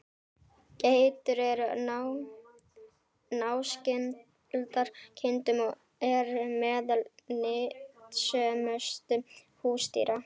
Geitur eru náskyldar kindum og eru meðal nytsömustu húsdýra.